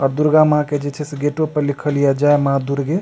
और दुर्गा माँ के जे छै से गेटो पे लिखल छै जय माँ दुर्गे।